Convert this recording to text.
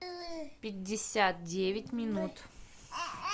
пятьдесят девять минут